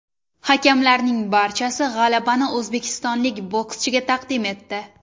Hakamlarning barchasi g‘alabani o‘zbekistonlik bokschiga taqdim etdi.